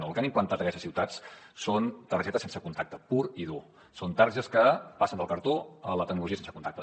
no el que han implantat aquestes ciutats són targetes sense contacte pur i dur són targetes que passen del cartó a la tecnologia sense contacte